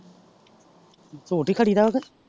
ਝੂਟ ਏ ਖੜੀ ਦਾ ਉਹ ਤੇ।